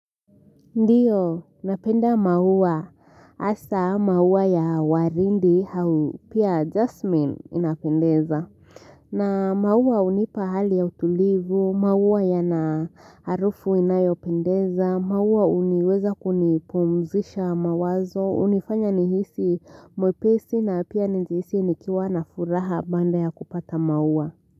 Ndio, napenda maua. Hasa maua ya waridi au pia Jasmine inapendeza. Na maua hunipa hali ya utulivu, maua yana harufu inayo pendeza, maua huniweza kunipumzisha mawazo, hunifanya nihisi mwepesi na pia nijihisi nikiwa na furaha baada ya kupata maua.